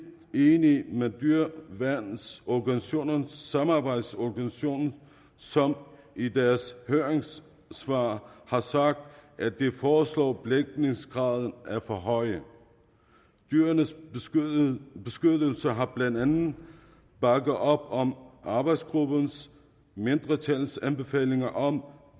enige med dyreværnsorganisationernes samarbejdsorganisation som i deres høringssvar har sagt at de foreslåede belægningsgrader er for høje dyrenes beskyttelse har blandt andet bakket op om arbejdsgruppens mindretals anbefalinger om